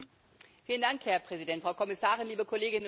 Herr Präsident, Frau Kommissarin, liebe Kolleginnen und Kollegen!